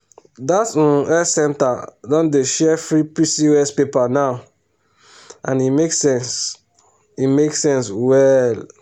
that um health center don dey share free pcos paper now and e make sense e make sense well.